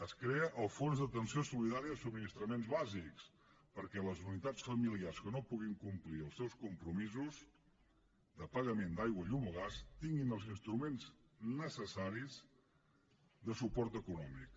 es crea el fons d’atenció solidària de subministraments bàsics perquè les unitats familiars que no puguin complir els seus compromisos de pagament d’aigua llum o gas tinguin els instruments necessaris de suport econòmic